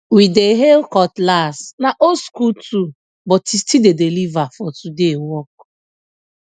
we dey hail cutlass na old school tool but e still dey deliver for today work